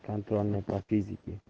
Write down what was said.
контрольная по физике